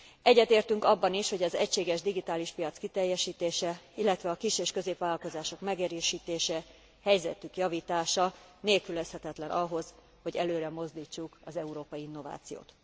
Egyetértünk abban is, hogy az egységes digitális piac kiteljesítése, illetve a kis és középvállalkozások megerősítése, helyzetük javítása nélkülözhetetlen ahhoz, hogy előremozdítsuk az európai innovációt.